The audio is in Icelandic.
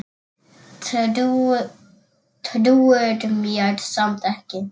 Trúir mér samt ekki.